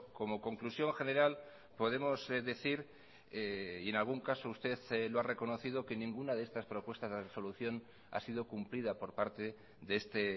como conclusión general podemos decir y en algún caso usted lo ha reconocido que ninguna de estas propuestas de resolución ha sido cumplida por parte de este